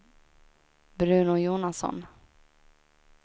Bruno Jonasson